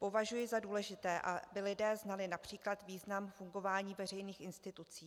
Považuji za důležité, aby lidé znali například význam fungování veřejných institucí.